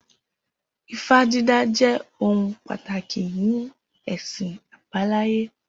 Ifá dídá jẹ́ ohun pàtàkì ní ẹ̀sìn àbáláyé